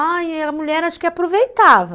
Ai, a mulher acho que aproveitava.